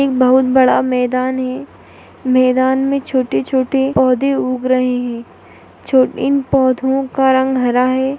एक बहुत बड़ा मैदान है मैदान मे छोटे-छोटे पौधे उग रहे है छोट इन पौधो का रंग हरा है।